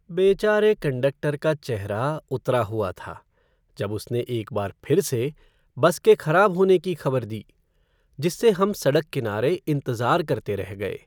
बेचारे कंडक्टर का चेहरा उतरा हुआ था जब उसने एक बार फिर से बस के खराब होने की खबर दी, जिससे हम सड़क किनारे इंतजार करते रह गए।